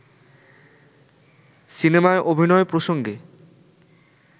সিনেমায় অভিনয় প্রসঙ্গে